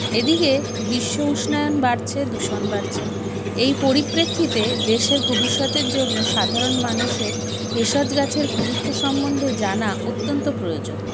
এদিগে বিশ্বউষ্ণায়ন বাড়ছে দূষণ বাড়ছে এই পরিপ্রেক্ষিতে দেশের ভবিষ্যতের জন্য সাধারণ মানুষের ভেষজ গাছের গুরুত্ব সম্বন্ধে জানা অত্যন্ত প্রয়োজন